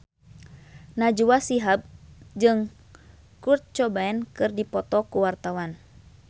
Najwa Shihab jeung Kurt Cobain keur dipoto ku wartawan